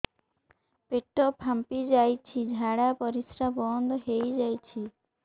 ପେଟ ଫାମ୍ପି ଯାଇଛି ଝାଡ଼ା ପରିସ୍ରା ବନ୍ଦ ହେଇଯାଇଛି